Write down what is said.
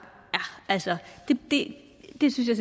altså det synes jeg